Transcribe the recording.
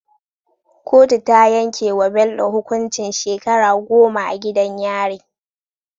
Kotu ta yanke wa Bello hukuncin shekara goma a gidan yari